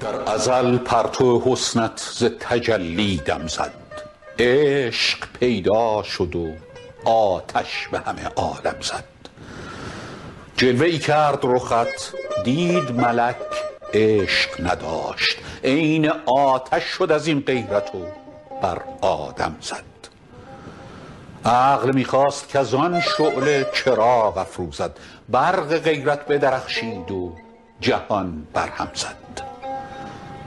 در ازل پرتو حسنت ز تجلی دم زد عشق پیدا شد و آتش به همه عالم زد جلوه ای کرد رخت دید ملک عشق نداشت عین آتش شد از این غیرت و بر آدم زد عقل می خواست کز آن شعله چراغ افروزد برق غیرت بدرخشید و جهان برهم زد